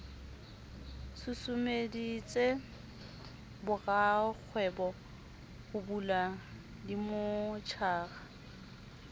susumeditse borakgwebo ho bula dimmotjhara